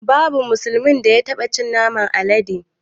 Babu musulmin da ya taɓa cin naman alade